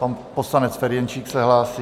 Pan poslanec Ferjenčík se hlásí.